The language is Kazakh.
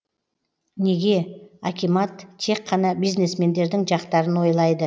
неге акимат тек қана бизнесмендердің жақтарын ойлайды